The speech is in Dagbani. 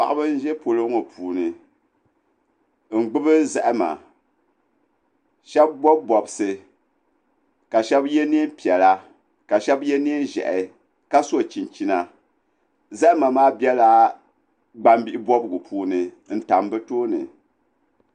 Paɣaba n ʒɛ polo ŋɔ puuni n gbubi zahama shab bob bobsi ka shab yɛ neen piɛla ka shab yɛ neen ʒiɛhi ka so chinchina zahama maa biɛla gbambihi bobgu puuni n tam bi tooni